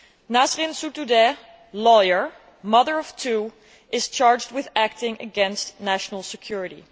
Nasrin Sotoudeh, lawyer and mother of two, is charged with acting against national security.